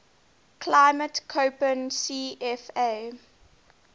climate koppen cfa